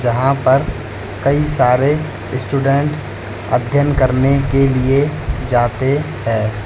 यहां पर कई सारे स्टूडेंट अध्ययन करने के लिए जाते हैं।